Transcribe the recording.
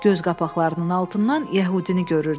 Göz qapaqlarının altından yəhudini görürdü.